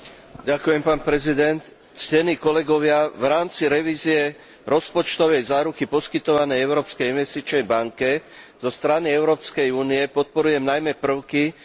V rámci revízie rozpočtovej záruky poskytovanej Európskej investičnej banke zo strany Európskej únie podporujem najmä prvky, ktoré majú zvýšiť hybnú silu tejto inštitúcie.